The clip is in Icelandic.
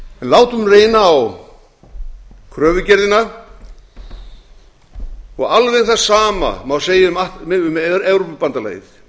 látum reyna á kröfugerðina og alveg það sama má segja um evrópubandalagið